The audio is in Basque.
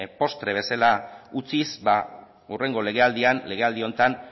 postre bezala utziz hurrengo legealdian legealdi honetan